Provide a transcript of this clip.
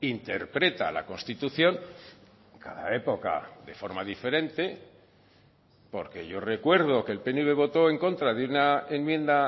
interpreta la constitución cada época de forma diferente porque yo recuerdo que el pnv votó en contra de una enmienda